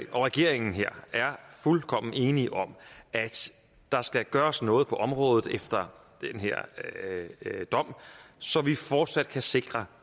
og regeringen er fuldkommen enige om at der skal gøres noget på området efter den her dom så vi fortsat kan sikre